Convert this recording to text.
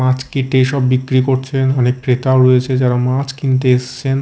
মাছ কেটে সব বিক্রি করছেন অনেক ক্রেতাও রয়েছে যারা মাছ কিনতে এসছেন।